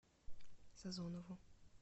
созонову